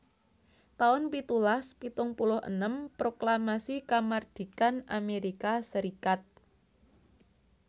taun pitulas pitung puluh enem Proklamasi Kamardikan Amerika Serikat